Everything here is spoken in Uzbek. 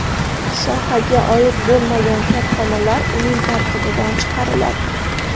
Sohaga oid bo‘lmagan korxonalar uning tarkibidan chiqariladi.